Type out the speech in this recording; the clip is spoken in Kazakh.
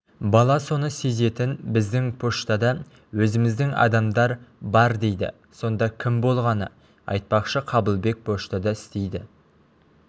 бала соны сезетін біздің поштада өзіміздің адамдар бар дейді сонда кім болғаны айтпақшы қабылбек поштада істейді